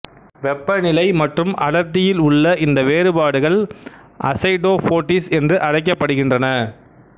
வெப்பநிலை மற்றும் அடர்த்தியில் உள்ள இந்த வேறுபாடுகள் அசைடோபோட்டீஸ் என்று அழைக்கப்படுகின்றன